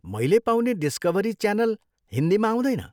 मैले पाउने डिस्कभरी च्यालन हिन्दीमा आउँदैन।